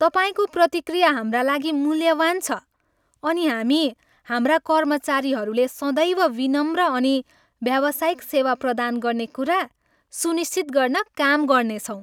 तपाईँको प्रतिक्रिया हाम्रा लागि मूल्यवान छ, अनि हामी हाम्रा कर्मचारीहरूले सदैव विनम्र अनि व्यावसायिक सेवा प्रदान गर्ने कुरा सुनिश्चित गर्न काम गर्नेछौँ।